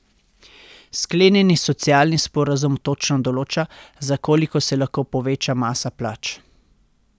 Sklenjeni socialni sporazum točno določa, za koliko se lahko poveča masa plač.